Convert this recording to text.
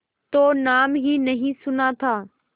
तो नाम ही नहीं सुना था